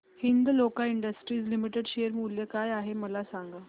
Hindalco industries limited share मूल्य काय आहे मला सांगा